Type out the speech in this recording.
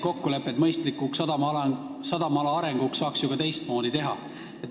Kokkuleppeid sadamaala mõistlikuks arendamiseks saaks ju ka teistmoodi teha.